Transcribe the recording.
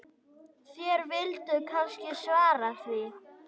Þér vilduð kannski svara því.